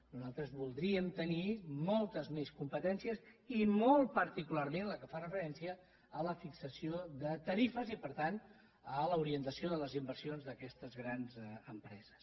nosaltres voldríem tenir moltes més competències i molt particularment la que fa referència a la fixació de tarifes i per tant a l’orientació de les inversions d’aquestes grans empreses